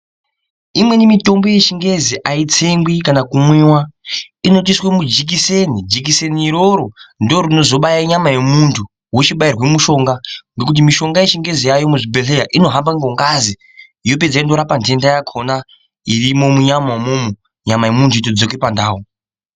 Imweni mutombo yechingezi aitsengwi kana kumwiwa inotoiswe mujikiseni jikiseni iroro ndorozobaaye nyama yemuntu wochibairwe mushonga ngekuti mushonga yechingezi yaayo muzvibhedhleya inohambe ngengazi yopedza yonforapa ntenda yakhona irimo munyama umomo nyama yemuntu yotodzoke pandau.